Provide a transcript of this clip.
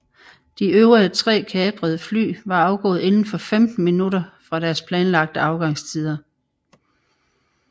De øvrige tre kaprede fly var afgået inden for femten minutter fra deres planlagte afgangstider